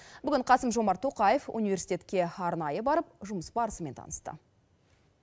бүгін қасым жомарт тоқаев университетке арнайы барып жұмыс барысымен танысты